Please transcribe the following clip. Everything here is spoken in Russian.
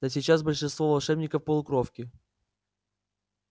да сейчас большинство волшебников полукровки